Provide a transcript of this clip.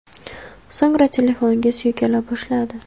So‘ngra telefonga suykala boshladi.